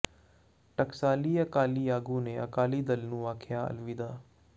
ਟਕਸਾਲੀ ਅਕਾਲੀ ਆਗੂ ਨੇ ਅਕਾਲੀ ਦਲ ਨੂੰ ਆਖਿਆ ਅਲਵਿਦਾ